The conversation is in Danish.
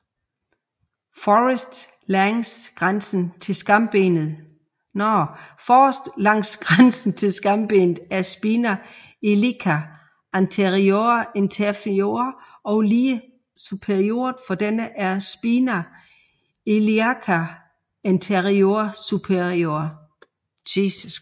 Forrest langs grænsen til skambenet er spina iliaca anterior inferior og lige superiort for denne er spina iliaca anterior superior